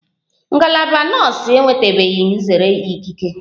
Ngalaba nọọsu enwetabeghi nzere ikike